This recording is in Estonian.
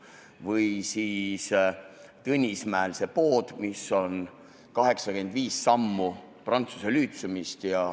Või siis Tõnismäel see pood, mis on 85 sammu prantsuse lütseumist.